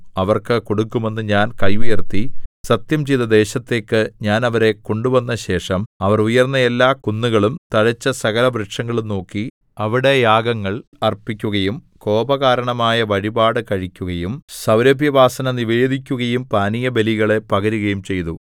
അവർക്ക് കൊടുക്കുമെന്ന് ഞാൻ കൈ ഉയർത്തി സത്യംചെയ്ത ദേശത്തേക്ക് ഞാൻ അവരെ കൊണ്ടുവന്നശേഷം അവർ ഉയർന്ന എല്ലാ കുന്നുകളും തഴച്ച സകലവൃക്ഷങ്ങളും നോക്കി അവിടെ യാഗങ്ങൾ അർപ്പിക്കുകയും കോപകാരണമായ വഴിപാട് കഴിക്കുകയും സൗരഭ്യവാസന നിവേദിക്കുകയും പാനീയബലികളെ പകരുകയും ചെയ്തു